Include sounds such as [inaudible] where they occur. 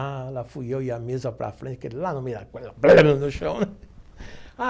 Ah, lá fui eu e a mesa para frente, aquele lá no meio, [unintelligible] no chão.